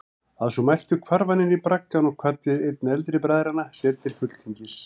Að svo mæltu hvarf hann inní braggann og kvaddi einn eldri bræðranna sér til fulltingis.